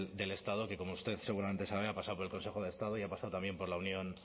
del estado que como usted seguramente sabe ha pasado por el consejo de estado y ha pasado también por la unión